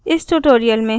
इस ट्यूटोरियल में हमने सीखा…